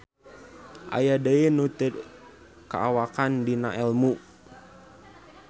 Aya deui nu teu kaawakan dinaelmu.